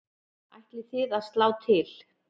Ætlið þið að slá til?